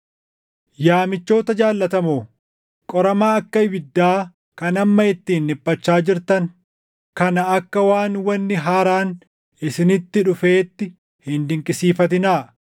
Yaa michoota jaallatamoo, qorama akka ibiddaa kan amma ittiin dhiphachaa jirtan kana akka waan wanni haaraan isinitti dhufeetti hin dinqisiifatinaa.